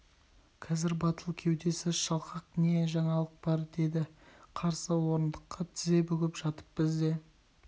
қазір батыл кеудесі шалқақ не жаңалық бар деді қарсы орындыққа тізе бүгіп жатып бізде